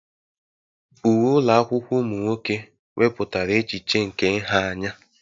Uwe ụlọ akwụkwọ ụmụ nwoke wepụtara echiche nke nha anya.